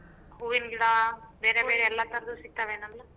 ಹೂವಿನ್ ಗಿಡ ಬೇರೆ ಬೇರೆ ಎಲ್ಲಾ ತರದು ಸಿಗತಾವೇನಲ್ಲ.